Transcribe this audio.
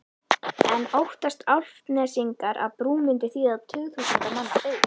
En óttast Álftnesingar að brú myndi þýða tugþúsunda manna byggð?